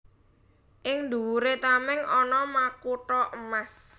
Ing dhuwuré tamèng ana makutha emas